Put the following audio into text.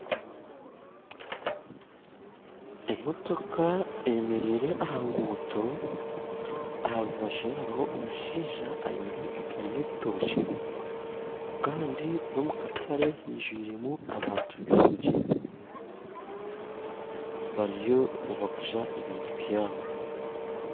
Emotoka eyemereire aha nguuto aharu baju hariho omushaija aineho egaari y'ebitookye kandi n'omu katare hijwiremu abantu baingi bariyo nibaguza ebintu yaabo